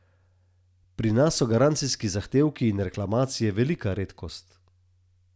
Pri nas so garancijski zahtevki in reklamacije velika redkost.